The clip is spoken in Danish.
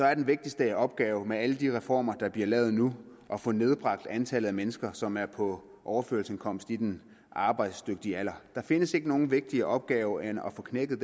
er den vigtigste opgave med alle de reformer der bliver lavet nu at få nedbragt antallet af mennesker som er på overførselsindkomst i den arbejdsdygtige alder der findes ikke nogen vigtigere opgave end at få knækket